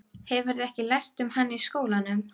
Hefurðu ekki lært um hann í skólanum?